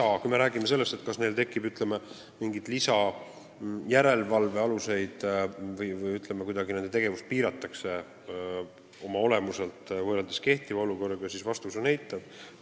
Aga kui me räägime sellest, kas tekib mingeid järelevalve lisaaluseid või nende tegevust oma olemuselt kuidagi piiratakse, võrreldes kehtiva olukorraga, siis vastus on eitav.